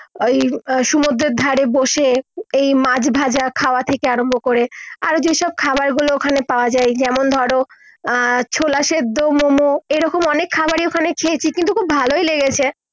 ঐ আহ সমুদ্রের ধারে বসে এই মাছ ভাজা খাওয়া থেকে আরম্ভ করে আরো যে সব খাবার গুলো ওখানে পাওয়া যায় যেমন ধরো আহ ছোলা সেদ্ধ মোমো এই রকম অনেক খাবারই ওখানে খেয়েছি কিন্তু খুব ভালোই লেগেছে